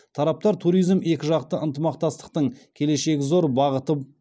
тараптар туризм екіжақты ынтымақтастықтың келешегі зор бағыты